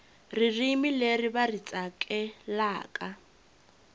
ririmi leri va ri tsakelaka